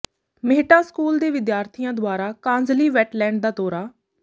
Mehtan school ਦੇ ਵਿਦਿਆਰਥੀਆਂ ਦੁਆਰਾ ਕਾਂਜਲੀ ਵੈਟਲੈਂਡ ਦਾ ਦੌਰਾ